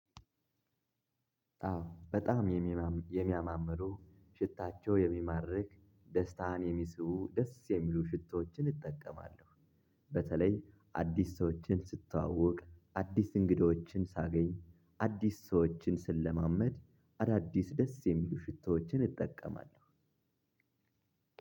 አዎ በጣም የሚማ የሚያማምሩ ሽታቸው የሚማርክ ደስታን የሚስቡ ደስ የሚሉ ሽቶዎችን እጠቀማለሁ። በተለይ አዲስ ሰዎችን ስተዋወቅ፣ አዲስ እንግዶችን ሳገኝ፣ አዲስ ሰዎችን፣ ስለማመድ አዳዲስ ደስ የሚሉ ሽታዎችን እጠቀማለሁ።